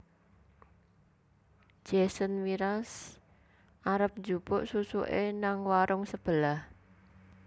Jason Mraz arep njupuk susuke nang warung sebelah